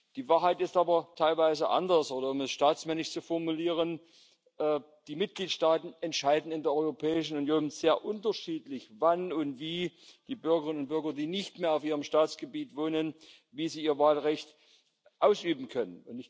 Die Wahrheit ist aber teilweise anders oder, um es staatsmännisch zu formulieren Die Mitgliedstaaten entscheiden in der Europäischen Union sehr unterschiedlich, wann und wie die Bürgerinnen und Bürger, die nicht mehr auf ihrem Staatsgebiet wohnen, ihr Wahlrecht ausüben können.